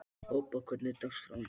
Obba, hvernig er dagskráin?